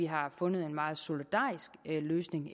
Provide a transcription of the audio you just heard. har fundet en meget solidarisk løsning